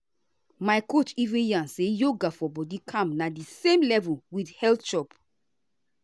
my coach even yarn say yoga for body calm na the same level with healthy chop.